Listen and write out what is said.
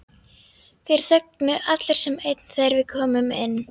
Þeir þögnuðu allir sem einn þegar við komum inn.